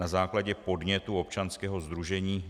Na základě podnětu občanského sdružení